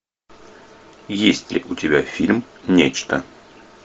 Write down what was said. есть ли у тебя фильм нечто